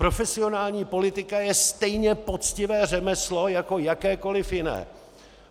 Profesionální politika je stejně poctivé řemeslo jako jakékoliv jiné.